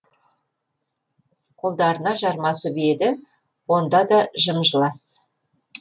қолдарына жармасып еді онда да жым жылас